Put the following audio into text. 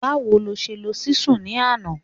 Báwo ló ṣe lo Ṣísù ni àná?